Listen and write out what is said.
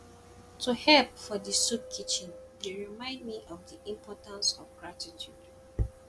to help for di soup kitchen dey remind me of di importance of gratitude